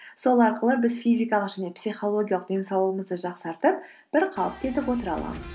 сол арқылы біз физикалық және психологиялық денсаулығымызды жақсартып бір қалыпты етіп отыра аламыз